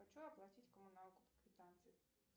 хочу оплатить коммуналку по квитанции